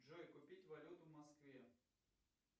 джой купить валюту в москве